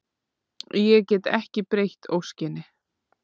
Ég get ekki breytt óskinni.